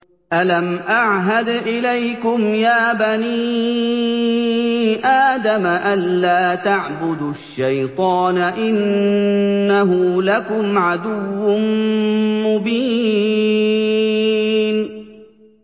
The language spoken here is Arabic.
۞ أَلَمْ أَعْهَدْ إِلَيْكُمْ يَا بَنِي آدَمَ أَن لَّا تَعْبُدُوا الشَّيْطَانَ ۖ إِنَّهُ لَكُمْ عَدُوٌّ مُّبِينٌ